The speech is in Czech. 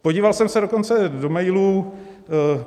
Podíval jsem se dokonce do mailů.